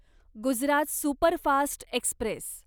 Gujarat superfast Express